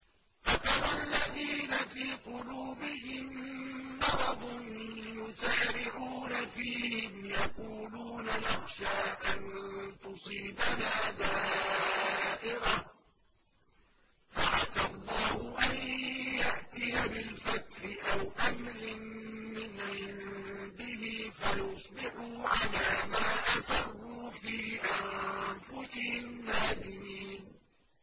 فَتَرَى الَّذِينَ فِي قُلُوبِهِم مَّرَضٌ يُسَارِعُونَ فِيهِمْ يَقُولُونَ نَخْشَىٰ أَن تُصِيبَنَا دَائِرَةٌ ۚ فَعَسَى اللَّهُ أَن يَأْتِيَ بِالْفَتْحِ أَوْ أَمْرٍ مِّنْ عِندِهِ فَيُصْبِحُوا عَلَىٰ مَا أَسَرُّوا فِي أَنفُسِهِمْ نَادِمِينَ